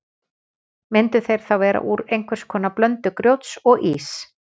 Myndu þeir þá vera úr einhvers konar blöndu grjóts og íss.